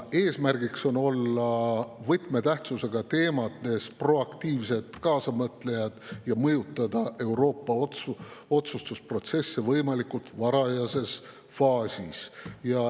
Eesmärk on olla võtmetähtsusega teemades proaktiivsed kaasamõtlejad ja mõjutada Euroopa otsustusprotsesse võimalikult varajases faasis.